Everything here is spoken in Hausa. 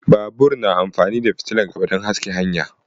Babur na amfani da fitilan gaba dan haska hanya